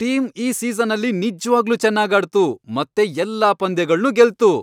Team ಈ ಸೀಸನಲ್ಲಿ ನಿಜ್ವಾಗ್ಲೂ ಚೆನ್ನಾಗ್ ಆಡ್ತು ಮತ್ತೆ ಎಲ್ಲಾ ಪಂದ್ಯಗಳ್ನೂ ಗೆಲ್ತು.